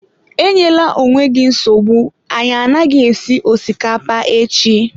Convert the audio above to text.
Enyela onwe gị nsogbu, anyị anaghị esi osikapa echi.